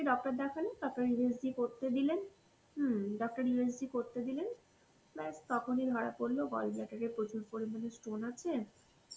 আমি doctor দেখালাম তারপরে USGকরতে দিলেন, হম doctor USGকরতে দিলেন, ব্যাস তখনই ধরা পরল gallbladder এ প্রচুর পরিমাণে stone আছে